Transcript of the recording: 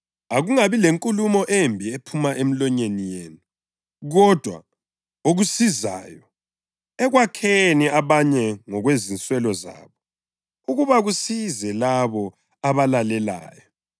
Akungabi lenkulumo embi ephuma emilonyeni yenu kodwa okusizayo ekwakheni abanye ngokwezinswelo zabo, ukuba kusize labo abalalelayo.